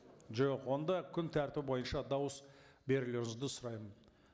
жоқ онда күн тәртібі бойынша дауыс берулеріңізді сұраймын